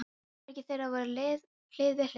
Herbergin þeirra voru hlið við hlið.